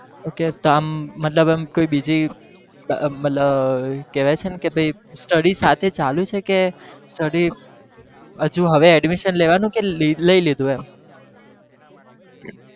okay તો આમ મતલબ એમ કોઈ બીજી મતલબ કેવાય છે ને study સાથે ચાલુ છે કે study હજુ હવે admisson લેવા નું કે લઇ લીધું એમ